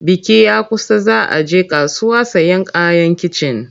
Biki ya kusa za a je kasuwa sayen kayan kicin.